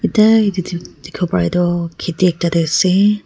Etya etu dek dekhevo para tuh kheti ekta dae ase.